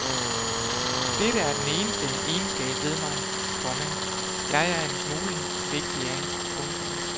Dette er den eneste egenskab ved mig, komma jeg er en smule vigtig af. punktum